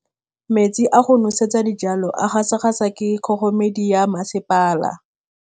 Metsi a go nosetsa dijalo a gasa gasa ke kgogomedi ya masepala.